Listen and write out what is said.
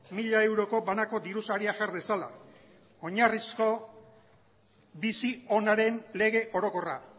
mila euroko banako dirusaria jar dezala oinarrizko bizi onaren lege orokorra